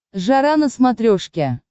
жара на смотрешке